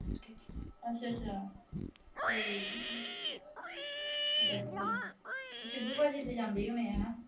ਅੱਛਾ ਅੱਛਾ। ਠੀਕ ਏ। ਸ਼ੀਬੂ ਭਾਜੀ ਦੇ ਜਾਂਦੀ ਹੋਣੀ ਹਨਾ।